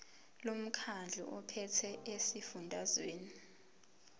lomkhandlu ophethe esifundazweni